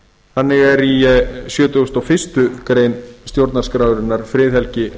þannig er í sjötugasta og fyrstu grein stjórnarskrárinnar friðhelgi